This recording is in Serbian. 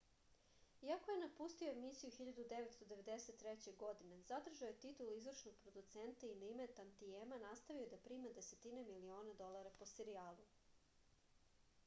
iako je napustio emisiju 1993. godine zadržao je titulu izvršnog producenta i na ime tantijema nastavio da prima desetine miliona dolara po serijalu